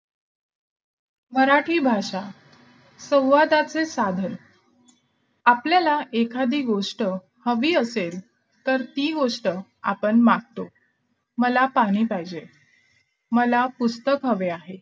मराठी भाषा संवादाचे साधन आपल्याला एखादी गोष्ट हवी असेल तर ती गोष्ट आपण मागतो मला पाणी पाहिजे मला पुस्तक हवे आहे